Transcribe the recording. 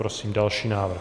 Prosím další návrh.